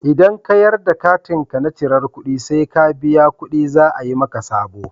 Idan ka yadda katinka na cirar ƙuɗi sai ka biya ƙuɗi za a yi maka sabo.